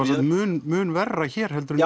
mun mun verra hér heldur en